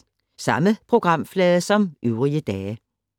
Samme programflade som øvrige dage